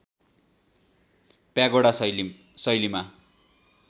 pagoda शैलीमा